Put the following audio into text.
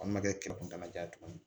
A ma kɛ ja ye tuguni